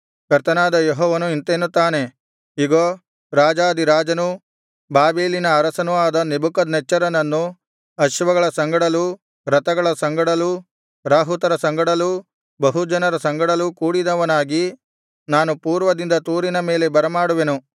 ಕರ್ತನಾದ ಯೆಹೋವನು ಇಂತೆನ್ನುತ್ತಾನೆ ಇಗೋ ರಾಜಾಧಿರಾಜನೂ ಬಾಬೆಲಿನ ಅರಸನೂ ಆದ ನೆಬೂಕದ್ನೆಚ್ಚರನನ್ನು ಅಶ್ವಗಳ ಸಂಗಡಲೂ ರಥಗಳ ಸಂಗಡಲೂ ರಾಹುತರ ಸಂಗಡಲೂ ಬಹುಜನರ ಸಂಗಡಲೂ ಕೂಡಿದವನಾಗಿ ನಾನು ಪೂರ್ವದಿಂದ ತೂರಿನ ಮೇಲೆ ಬರಮಾಡುವೆನು